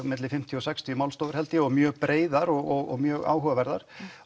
milli fimmtíu til sextíu málstofur held ég og mjög breiðar og mjög áhugaverðar